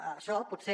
això potser